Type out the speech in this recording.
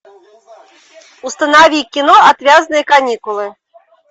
установи кино отвязные каникулы